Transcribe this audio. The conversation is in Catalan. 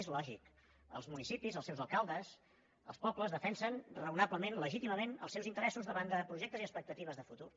és lògic els municipis els seus alcaldes els pobles defensen raonablement legítimament els seus interessos davant de projectes i expectatives de futur